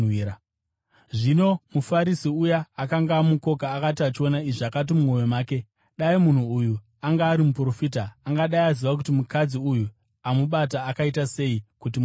Zvino muFarisi uya akanga amukoka akati achiona izvi, akati mumwoyo make, “Dai munhu uyu anga ari muprofita, angadai aziva kuti mukadzi uyu amubata akaita sei, kuti mutadzi.”